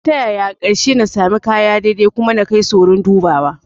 Ko ta yaya, a ƙarshe na sami kaya daidai kuma na kai su wurin dubawa